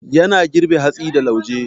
Yana girbe hatsi da lauje.